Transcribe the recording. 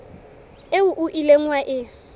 eo o ileng wa e